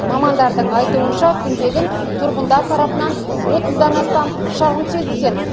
мамандардың айтуынша күнбе күн тұрғындар тарапынан отыздан астам шағым түседі екен